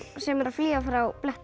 sem er að flýja frá